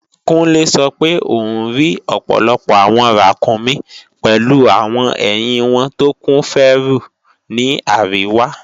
Kúnlé sọ pé òún rí ọ̀pọ̀lọpọ̀ àwọn ràkúnmí pèlu àwọn ẹ̀hìn wọn tó kún fẹ́rù ní àríwá